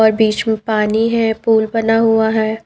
और बीच में पानी है पूल बना हुआ है।